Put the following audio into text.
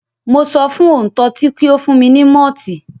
Mo sọ fún òǹtọtí kí ó fún mi ní mọ́ọ̀tì.